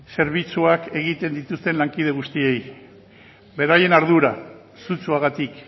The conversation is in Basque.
zerbitzuak egiten dituzten lankide guztiei beraien ardura sutsuagatik